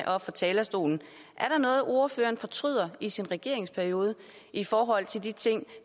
fra talerstolen er der noget ordføreren fortryder i sin regeringsperiode i forhold til de ting